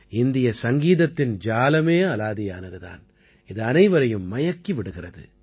இந்திய சங்கீதத்தின் ஜாலமே அலாதியானது தான் இது அனைவரையும் மயக்கி விடுகிறது